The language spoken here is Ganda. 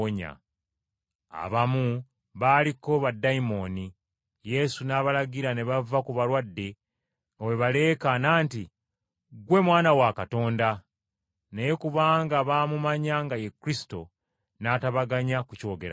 Abamu baaliko baddayimooni, Yesu n’abalagira ne bava ku balwadde nga bwe baleekaana nti, “Ggwe Mwana wa Katonda.” Naye kubanga baamumanya nga ye Kristo, n’atabaganya kukyogerako.